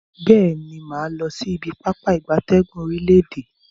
Beeni, maa losi ibi Pápá ìgbatẹ́gùn orile-ede.